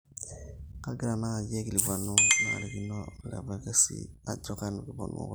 kagira naji aikilikuanu ntarikini olapa kesi ajo kanu kipuonu kotini